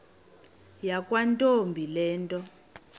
yakwantombi le nto